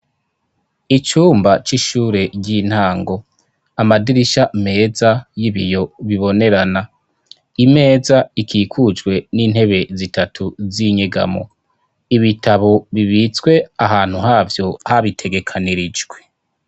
Icumba c'ishure ry'intango. Amadirisha meza y'ibiyo bibonerana. Imeza ikikujwe n'intebe zitatu z'inyegamo. Ibitabo bibitswe ahantu havyo habitegekanirijwe.